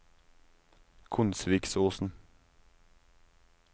Konsvikosen